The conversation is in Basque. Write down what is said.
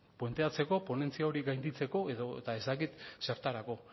puenteatzeko ponentzia hori gainditzeko edota ez dakit zertarako